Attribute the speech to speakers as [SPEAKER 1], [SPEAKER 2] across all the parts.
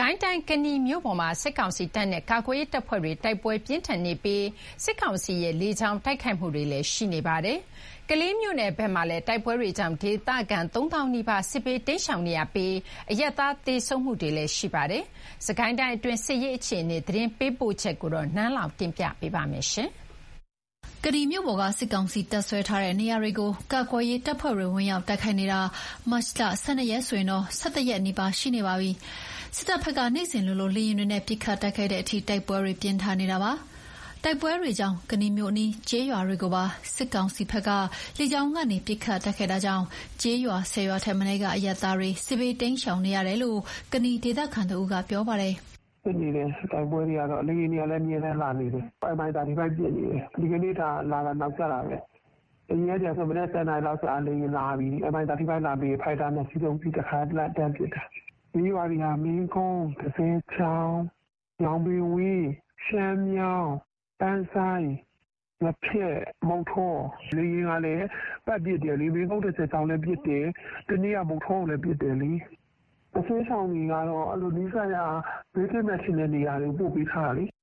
[SPEAKER 1] ကိုင်းတိုင်း ကနီမြို့ပေါ်မှာ စစ်ကောင်စီတပ်နဲ့ ကာကွယ်ရေးတပ်ဖွဲ့တွေ တိုက်ပွဲပြင်းထန်နေပြီး စစ်ကောင်စီက လေကြောင်းကနေလည်း တိုက်ခိုက်နေပါတယ်။ ကလေးမြို့နယ်ဘက်မှာလည်း တိုက်ပွဲတွေကြောင့် ဒေသခံ ၃ သောင်းနီးပါး စစ်ဘေး တိမ်းရှောင်နေရပြီး အရပ်သားတွေလည်း သေဆုံးတာတွေ ရှိပါတယ်။ စစ်ကိုင်းတိုင်းအတွင်း စစ်ရေးအခြေအနေ သတင်းပေးပို့ချက်ကို နန်းလောင်ဝ်က တင်ပြပေးထားပါတယ်။ ကနီမြို့ပေါ်က စစ်ကောင်စီ တပ်စွဲထားတဲ့နေရာတွေကို ကာကွယ်ရေးတပ်ဖွဲ့တွေ ဝင် ရောက်တိုက်ခိုက်နေတာ ဒီကနေ့ မတ်လ ၁၂ ရက်ဆိုရင် ၁၁ ရက်နီးပါး ရှိနေပါပြီ။ စစ်တပ်ဘက်က နေ့စဉ်လိုလို လေယာဉ်တွေနဲ့ ပစ်ခတ်တိုက်ခိုက်တဲ့အထိ တိုက်ပွဲတွေ ပြင်းထန်နေတာပါ။ တိုက်ပွဲတွေကြောင့် ကနီမြို့အနီး ကျေးရွာတွေကိုပါ စစ်တပ်ဘက်က လေကြောင်းကနေ ပစ်ခတ်တိုက်ခိုက်တာကြောင့် ကျေးရွာ ၁၀ ရွာထက်မနည်းကအရပ်သားတွေ စစ်ဘေးတိမ်းရှောင်နေရတယ်လို့ ကနီဒေသခံတဦးက ပြောပါတယ်။
[SPEAKER 2] “တိုက်ပွဲတွေကတော့ဖြစ်နေတယ်။ လေယာဉ်တွေကတော့ အမြဲတမ်းလာနေတယ်။ အခုကို Mi 35 ပစ်နေတယ်။ ဒီကနေ့လာတာ နောက်ကျတာပဲ။ အရင်နေ့ကဆို မနက် ၁၀ နာရီလောက်ဆို လေယာဉ်လာပြီ။ Mi35 လာပြီးပြီဆိုရင် ဖိုက်တာ ၂ စီးလာပြီး တခါတည်းတန်းပစ်တာ။ ပြေးနေရတာက မင်းကုန်း၊ တဇယ်ချောင်၊ ညောင်ပင်ဝန်း၊ ပန်းဆိုင်း၊ ငါးဖျက်၊ မုဌော၊ လေယာဉ်က ပတ်ပစ်တယ်။ မင်းကုန်း တဇယ်ချောင်လည်း ပတ်ပစ်တယ်။ တနေ့က မုဌောကိုလည်း ပစ်တယ်လေ။ စစ်ဘေးရှောင်တွေက ဘေးကင်းမယ်ထင်တဲ့နေရာတွေကို ပို့ပေးထားတာ။
[SPEAKER 1] ”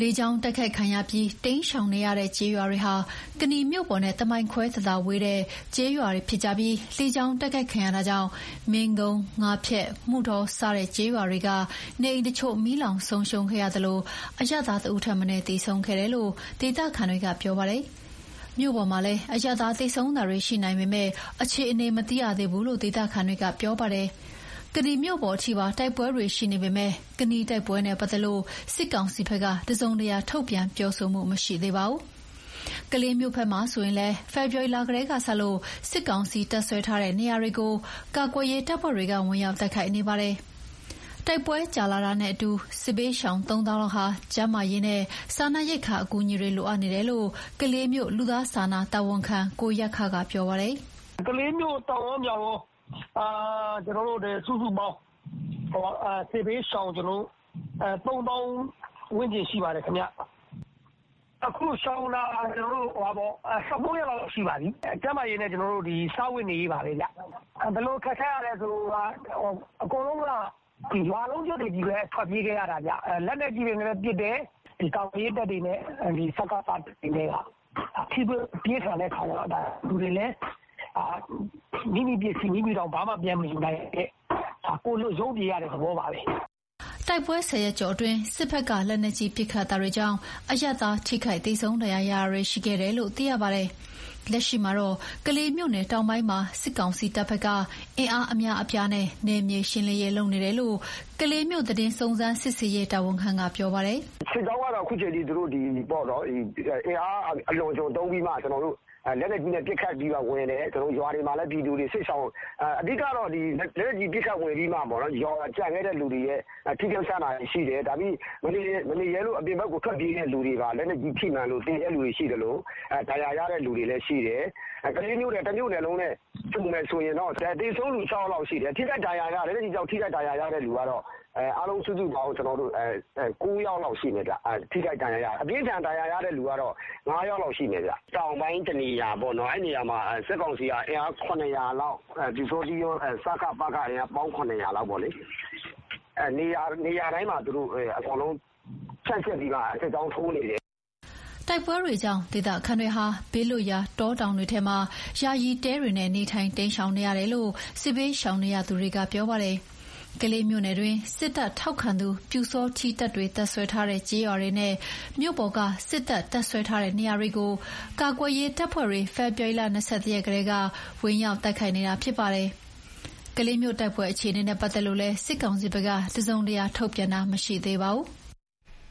[SPEAKER 1] လေကြောင်းတိုက်ခိုက်ခံရပြီး တိမ်းရှောင်နေရတဲ့ကျေးရွာတွေဟာ ကနီမြို့ပေါ်နဲ့တမိုင်ခွဲသာသာလောက်ပဲ ဝေးတဲ့ကျေးရွာတွေဖြစ်ပြီး လေကြောင်း တိုက်ခိုက်ခံရတာကြောင့် မင်းကုန်း၊ ငါးဖျက်၊ မုဌော စတဲ့ကျေးရွာတွေက နေအိမ်တချို့ မီးလောင်ဆုံးရှုံးသလို အရပ်သားတဦးထက်မနည်းလည်း သေဆုံးခဲ့ပါတယ်လို့ ဒေသခံတွေကပြောပါတယ်။ မြို့ပေါ်မှာလည်း အရပ်သား သေဆုံးတာတွေရှိနိုင်ပေမယ့် အခြေအနေမသိရသေးဘူးလို့ ဒေသခံတွေက ပြောပါတယ်။ ကနီမြို့ပေါ်ထိပါ တိုက်ပွဲတွေရှိနေပေမယ့် ကနီတိုက်ပွဲနဲ့ပတ်သက်လို့ စစ်ကောင်စီဘက်က တစုံတရာ ထုတ်ပြန်ပြောဆိုမှု မရှိသေးပါဘူး။ ကလေးမြို့ဘက်မှာဆိုရင်လည်း ဖေဖော်ဝါရီလကတည်းကစလို့ စစ်ကောင်စီ တပ်စွဲထားတဲ့နေရာတွေကို ကာကွယ်ရေးတပ်ဖွဲ့တွေက ဝင်ရောက် တိုက်ခိုက်နေပါတယ်။ တိုက်ပွဲကြာတာနဲ့အမျှ စစ်ဘေးရှောင် ၃ သောင်းလောက်ဟာ ကျန်းမာရေးနဲ့ စားနပ်ရိက္ခာ အကူအညီတွေ လိုအပ်နေတယ်လို့ ကလေးမြို့ လူသားစာနာ တာဝန်ခံက ကိုယက္ခက ပြောပါတယ်။ “ကလေးမြို
[SPEAKER 3] ့ တောင်ကော မြောက်ကော စုစုပေါင်း စစ်ဘေးရှောင် ၃ သောင်း ဝန်းကျင်ရှိပါတယ်။ အခုရှောင်နေတာ ၁၉ ရက်လောက် ရှိပါပြီ။ ကျန်းမာရေးနဲ့ စားဝတ်နေရေးပါပဲခင်ဗျ။ ဘယ်လိုခက်ခဲတာလဲဆိုရင် အကုန်လုံးက ရွာလုံးကျွတ်တွေပဲ ထွက်ပြေးနေရတာ။ လက်နက်ကြီးတွေနဲ့ ပစ်တယ်။ ကာကွယ်ရေးတပ်တွေနဲ့ စကစတွေနဲ့က ထိတွေ့မှုပြင်းထန်တဲ့အခါကျတော့ လူတွေလည်း မိမိပစ္စည်းမိမိ ဘာမှ ပြန်မယူနိုင်ဘဲ ကိုယ်လွတ်ရုန်းပြေးရတဲ့ သဘောပါပဲ။
[SPEAKER 1] ” တိုက်ပွဲ ၁၀ ရက်ကျော်အတွင်း စစ်တပ်ဘက်က လက်နက်ကြီး ပစ်ခတ်တာတွေကြောင့် အရပ်သား ထိခိုက်သေဆုံး ဒဏ်ရာရတာတွေရှိခဲ့တယ်လို့ သိရပါတယ်။ လက်ရှိမှာတော့ ကလေးမြို့နယ်တောင်ပိုင်းမှာ စစ်ကောင်စီတပ်ဘက်က အင်အားအများအပြားနဲ့ နယ်မြေရှင်းနေတယ်လို့ ကလေးမြို့သတင်းစုံစမ်း စစ်ဆေးရေးတာဝန်ခံက ပြောပါတယ်
[SPEAKER 3] ။ “စစ်ကြောင်းကတော့ သူတို့ဘက်က အင်အားအလွန်အကျွံသုံးပြီးတော့ လက်နက်ကြီးနဲ့ ပစ်ခတ်ပြီးမှ ဝင်တယ်။ လက်နက်ကြီး ပစ်ခတ်ဝင်ပြီးမှ ကျန်တဲ့သူတွေရဲ့ ထိခိုက်ရှနာတာတွေရှိတယ်။ မနေရဲလို့ အပြင်ဘက်ကို ထွက်ပြေးတဲ့သူတွေပါ လက်နက်ကြီး ထိမှန်လို့ သေတဲ့သူတွေရှိသလို ဒဏ်ရာရတဲ့သူတွေလည်းရှိတယ်။ ကလေးမြို့နယ် တမြို့နယ်လုံးနဲ့ ခြုံမယ်ဆိုရင်တော့ သေဆုံးသူ ၆ ယောက်လောက်ရှိတယ်။ လက်နက်ကြီးကြောင့် ထိခိုက်ဒဏ်ရာရတာ အားလုံး စုစုပေါင်း ၉ ယောက်လောက်ရှိမယ်။ အပြင်းအထန် ဒဏ်ရာရတာ ၅ ယောက်လောက်ရှိမယ်။ တောင်ပိုင်းတနေရာပေါ့နော်။ စစ်ကောင်စီက အင်အား ၇၀၀ လောက်၊ ပျူစောထီးကော စကစ အင်အားကော ပေါင်း ၇၀၀ လောက်က နေရာတိုင်း အကုန်ဖြန့်ကျက်ပြီးမှ စစ်ကြောင်းထိုးနေတယ်။
[SPEAKER 1] ” တိုက်ပွဲတွေကြောင့် ဒေသခံတွေဟာ ဘေးလွတ်ရာ တောတောင်တွေထဲမှာ ယာယီတဲတွေနဲ့ နေထိုင် တိမ်းရှောင်နေရတယ်လို့ စစ်ဘေးရှောင်နေရသူတွေက ပြောပါတယ်။ ကလေးမြို့နယ်တွင်း စစ်တပ်ထောက်ခံတဲ့ ပျူစောထီးတပ်တွေ တပ်စွဲထားတဲ့ကျေးရွာတွေနဲ့၊ မြို့ပေါ်က စစ်တပ်တပ်စွဲထားတဲ့နေရာတွေကို ကာကွယ်ရေး တပ်ဖွဲ့တွေက ဖေဖော်ဝါရီ ၂၁ ရက်ကတည်းက ဝင်ရောက်တိုက်ခိုက်နေတာ ဖြစ်ပါတယ်။ ကလေးမြို့တိုက်ပွဲအခြေအနေနဲ့ပတ်သက်လို့လည်း စစ်ကောင်စီဘက်က တစုံတရာထုတ်ပြန်တာ မရှိသေးပါဘူး။